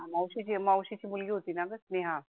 मावशीची मावशीची मुलगी होतीना ग स्नेहा